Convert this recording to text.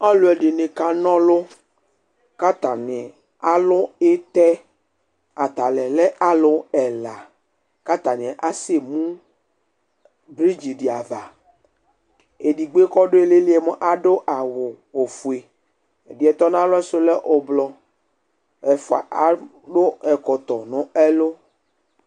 Ɔlʋɛdɩnɩ kana ɔlʋ k'atanɩ alʋ ɩtɛ atanɩ lɛ alʋ ɛla k'atanɩ asɛmu bridgedɩ ava Edigbo yɛ kɔdʋ iilili yɛ mʋa adʋ awʋ ofue ɛdɩ yɛ tɔnalɔ yɛ du lɛ ʋblʋ Ɛfua adʋ ɛkɔtɔ n'ɛlʋ